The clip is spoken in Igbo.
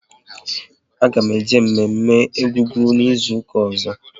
A ga m eje mme mme Egungun n'izuka ọzọ